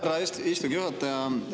Aitäh, härra istungi juhataja!